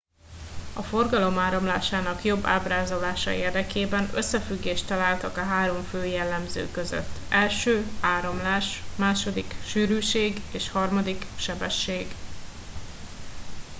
a forgalom áramlásának jobb ábrázolása érdekében összefüggést találtak a három fő jellemző között: 1 áramlás 2 sűrűség és 3 sebesség